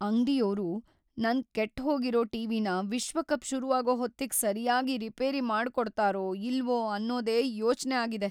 ಅಂಗ್ಡಿಯೋರು ನನ್‌ ಕೆಟ್ಹೋಗಿರೋ ಟಿ.ವಿ.ನ ವಿಶ್ವಕಪ್ ಶುರುವಾಗೋ ಹೊತ್ತಿಗ್‌ ಸರ್ಯಾಗಿ ರಿಪೇರಿ ಮಾಡ್ಕೊಡ್ತಾರೋ ಇಲ್ವೋ ಅನ್ನೋದೇ ಯೋಚ್ನೆ ಆಗಿದೆ.